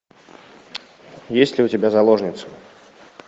есть ли у тебя заложница